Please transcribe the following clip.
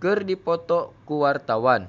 keur dipoto ku wartawan